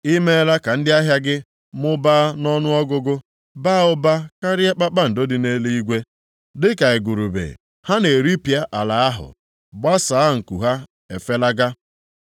Ị meela ka ndị ahịa gị mụbaa nʼọnụọgụgụ, baa ụba karịa kpakpando dị nʼeluigwe, dịka igurube ha na-eripịa ala ahụ, gbasaa nku ha efelaga